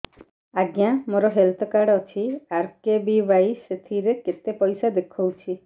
ଆଜ୍ଞା ମୋର health card ଅଛି ଆର୍.କେ.ବି.ୱାଇ ସେଥିରେ କେତେ ପଇସା ଦେଖଉଛି